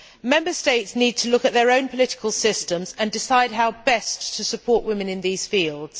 Member States need to look at their own political systems and decide how best to support women in these fields.